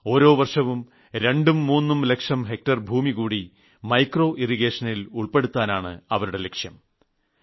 ഓരോ വർഷവും രണ്ടും മൂന്നും ലക്ഷം ഹെക്ടർ ഭൂമി അധികമായി മൈക്രോ ഇറിഗേഷനിൽ ഉൾപ്പെടുത്താനാണ് അവരുടെ ലക്ഷ്യം